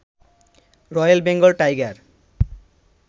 royal Bengal tiger